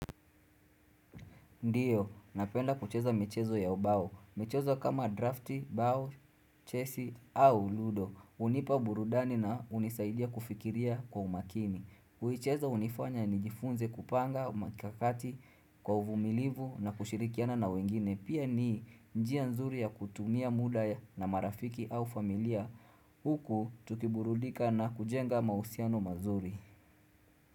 Ndio, napenda kucheza michezo ya ubao. Mchezo kama drafti, bao, chesi au ludo. Unipa burudani na unisaidia kufikiria kwa umakini. Kuicheza unifanya ni jifunze kupanga, mikakakati, kwa uvumilivu na kushirikiana na wengine. Pia ni njia nzuri ya kutumia muda na marafiki au familia. Huku tukiburudika na kujenga mahusiano mazuri.